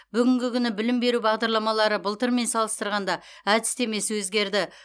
бүгінгі күні білім беру бағдарламалары былтырмен салыстырғанда әдістемесі өзгерді